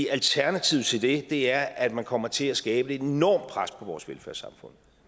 alternativet til det er at man kommer til at skabe et enormt pres på vores velfærdssamfund